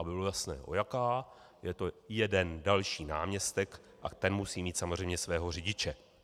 Aby bylo jasno o jaká, je to jeden další náměstek a ten musí mít samozřejmě svého řidiče.